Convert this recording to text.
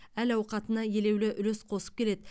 әл ауқатына елеулі үлес қосып келеді